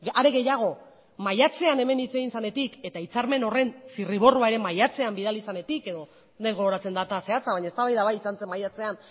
are gehiago maiatzean hemen hitz egin zenetik eta hitzarmen horren zirriborroa ere maiatzean bidali zenetik edo ez naiz gogoratzen data zehatza baino eztabaida bai izan zen maiatzean